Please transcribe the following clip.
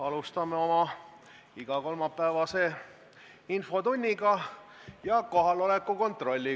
Alustame oma igakolmapäevast infotundi ja kohaloleku kontrolli.